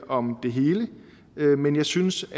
om det hele men jeg synes